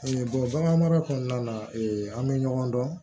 bagan mara kɔnɔna na an bɛ ɲɔgɔn dɔn